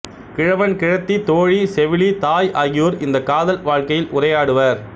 கிழவன் கிழத்தி தோழி செவிலி தாய் ஆகியோர் இந்தக் காதல் வாழ்க்கையில் உரையாடுவர்